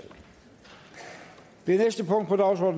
dette